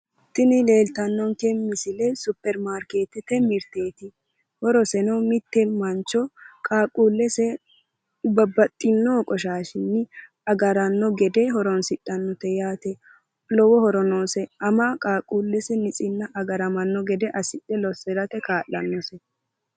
Yini leelittanonke misile supeirimaarkeetete heedhano mirteti woyi uduuneti isano mitte ama qaaqqulu keeranchima agarate horonsidhano uduunichoti